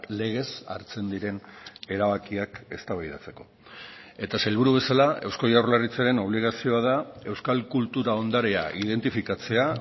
legez hartzen diren erabakiak eztabaidatzeko eta sailburu bezala eusko jaurlaritzaren obligazioa da euskal kultura ondarea identifikatzea